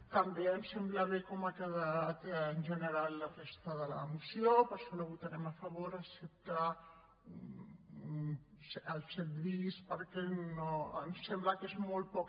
també ens sembla bé com ha quedat en general la resta de la moció per això la votarem a favor excepte el set bis perquè ens sembla que és molt poc